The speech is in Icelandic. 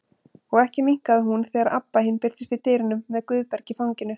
Og ekki minnkaði hún þegar Abba hin birtist í dyrunum með Guðberg í fanginu.